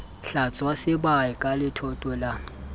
hlwatswa sebae ka letoto la